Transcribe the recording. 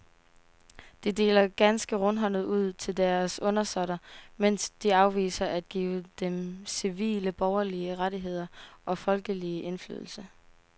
De deler ganske rundhåndet ud til deres undersåtter, mens de afviser at give dem civile borgerlige rettigheder og folkelig indflydelse.